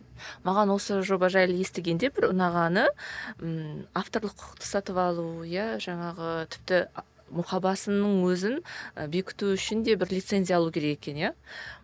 маған осы жоба жайлы естігенде бір ұнағаны ммм авторлық құқықты сатып алу иә жаңағы тіпті мұқабасының өзін і бекіту үшін де бір лицензия алу керек екен иә